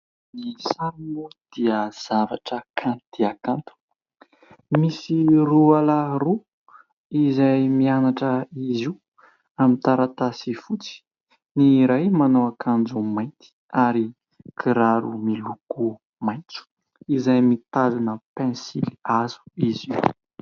Ny sary moa dia zavatra kanto dia kanto, misy roalahy roa izay mianatra izy io amin'ny taratasy fotsy, ny iray manao akanjo mainty ary kiraro miloko maitso izay mitazona pensilihazo izy io.